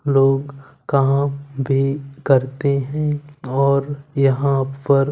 लोग कहां बे करते हैं और यहां पर--